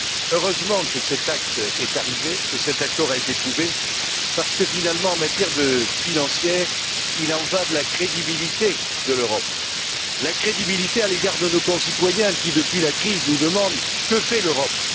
Heureusement que cet acte est arrivé, que cet accord a été trouvé parce que, finalement, en matière financière il y va de la crédibilité de l'Europe, de sa crédibilité à l'égard de nos concitoyens qui, depuis la crise, nous demandent Que fait l'Europe?